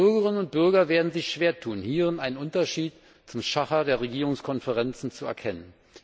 Bürgerinnen und Bürger werden sich schwer tun, hierin einen Unterschied zum Schacher der Regierungskonferenzen zu erkennen.